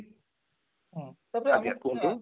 ତ ଆଜ୍ଞା କୁହନ୍ତୁ